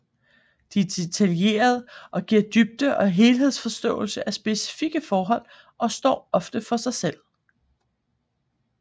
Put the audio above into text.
De er detaljerede og giver dybde og helhedsforståelse af specifikke forhold og står ofte for sig selv